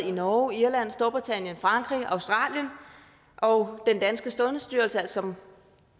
i norge irland storbritannien frankrig australien og den danske sundhedsstyrelse som